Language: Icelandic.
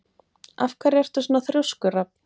Af hverju ertu svona þrjóskur, Rafn?